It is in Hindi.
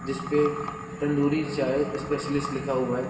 जिसपे तंदूरी चाय स्पेशलिस्ट लिखा हुआ है।